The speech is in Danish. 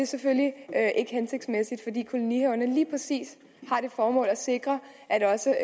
selvfølgelig ikke hensigtsmæssigt fordi kolonihaverne lige præcis har det formål at sikre at også